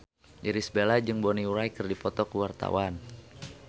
Irish Bella jeung Bonnie Wright keur dipoto ku wartawan